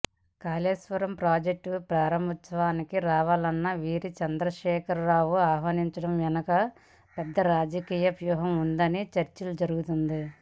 Kaleshwaram project ప్రారంభోత్సవానికి రావాలని వీరిని చంద్రశేఖర్ రావు ఆహ్వానించడం వెనక పెద్ద రాజకీయ వ్యూహం ఉందనే చర్చ జరుగుతోంది